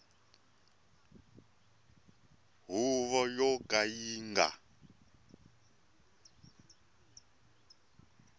huvo yo ka yi nga